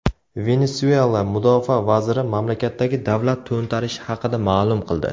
Venesuela mudofaa vaziri mamlakatdagi davlat to‘ntarishi haqida ma’lum qildi.